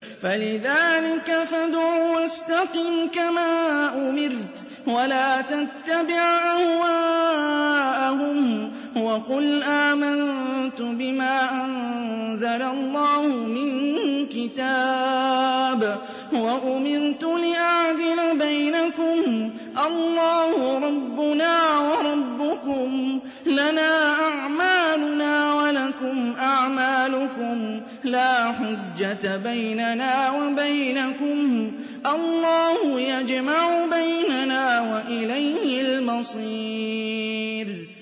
فَلِذَٰلِكَ فَادْعُ ۖ وَاسْتَقِمْ كَمَا أُمِرْتَ ۖ وَلَا تَتَّبِعْ أَهْوَاءَهُمْ ۖ وَقُلْ آمَنتُ بِمَا أَنزَلَ اللَّهُ مِن كِتَابٍ ۖ وَأُمِرْتُ لِأَعْدِلَ بَيْنَكُمُ ۖ اللَّهُ رَبُّنَا وَرَبُّكُمْ ۖ لَنَا أَعْمَالُنَا وَلَكُمْ أَعْمَالُكُمْ ۖ لَا حُجَّةَ بَيْنَنَا وَبَيْنَكُمُ ۖ اللَّهُ يَجْمَعُ بَيْنَنَا ۖ وَإِلَيْهِ الْمَصِيرُ